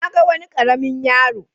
Na ga wani ƙaramin yaro.